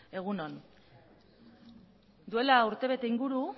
egun on duela urtebete inguru